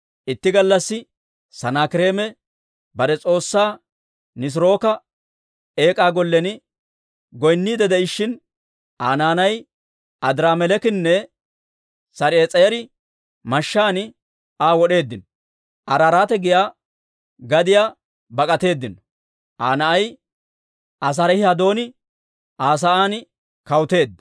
Itti gallassi Sanaakireeme bare s'oossaa Nisirooka Eek'aa Gollen goynniidde de'ishshin, Aa naanay Adiraameleekinne Sar"ees'eri mashshaan Aa wod'eeddino. Araaraate giyaa gadiyaa bak'atteedino. Aa na'ay Asaarihi-Hadon Aa sa'aan kawuteedda.